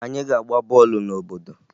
Anyị ga-agba bọọlụ n'obodo